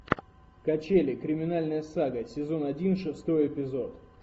качели криминальная сага сезон один шестой эпизод